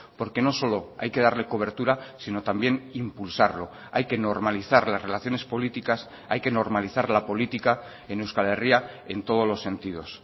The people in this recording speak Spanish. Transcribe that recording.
porque no solo hay que darle cobertura sino también impulsarlo hay que normalizar las relaciones políticas hay que normalizar la política en euskal herria en todos los sentidos